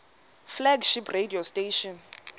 flagship radio station